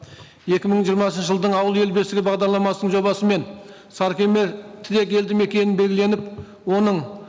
екі мың жиырмасыншы жылдың ауыл ел бесігі бағдарламасының жобасымен сарыкемер тілек елді мекенін белгіленіп оның